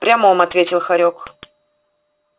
в прямом ответил хорёк